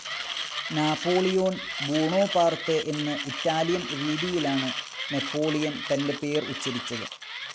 Napoleon Buonaparte എന്ന് Italian രീതിയിലാണ് Napoleon തന്റെ പേർ ഉച്ചരിച്ചത്,.